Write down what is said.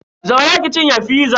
Zauna ki cinye fizan.